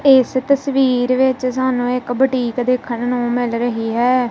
ਇਸ ਤਸਵੀਰ ਵਿੱਚ ਸਾਨੂੰ ਇੱਕ ਬੁਟੀਕ ਦੇਖਣ ਨੂੰ ਮਿਲ ਰਹੀ ਹੈ।